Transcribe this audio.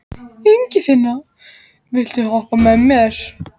Ingifinna, viltu hoppa með mér?